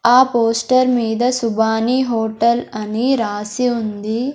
ఆ పోస్టర్ మీద సుభాని హోటల్ అని రాసి ఉంది.